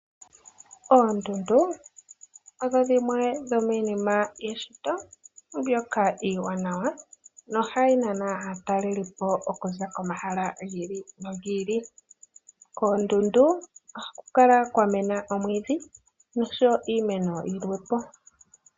Oondundu odho dhimwe dho miinima yeshito mbyoka iiwanawa na ohayi nana aatalelipo okuza komahala gi ili no gi ili. Koondundu ohaku kala kwa mena omwiidhi nosho wo iimeno yilwe.